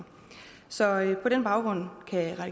så er